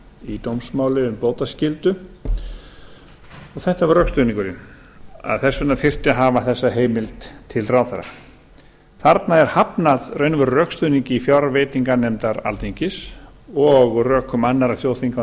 í dómsmáli um bótaskyldu og þetta var rökstuðningurinn þess vegna þyrfti að hafa þessa heimild til ráðherra þarna er hafnað í raun og veru rökstuðningi fjárveitinganefndar alþingis og rökum annarra þjóðþinga á